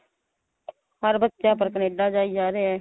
ਹਰ ਬੱਚਾ ਪਰ ਕਨੇਡਾ ਜਾਈ ਜਾ ਰਿਹਾ